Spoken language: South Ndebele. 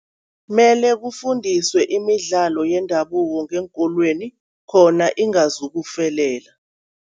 Mele kufundiswe imidlalo yendabuko ngeenkolweni khona ingazukufelela.